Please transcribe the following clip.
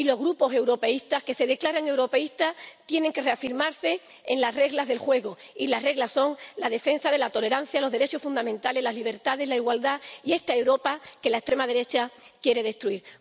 Y los grupos europeístas, que se declaran europeístas, tienen que reafirmarse en las reglas del juego, y las reglas son la defensa de la tolerancia, los derechos fundamentales, la libertad, la igualdad y esta Europa que la extrema derecha quiere destruir.